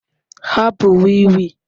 Hapụ wii wii